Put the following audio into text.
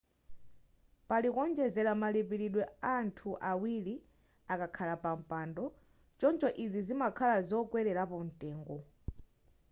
pali kuonjezera malipilidwe anthu awili akakhala pa mpando choncho izi zimakhala zokwelerapo mtengo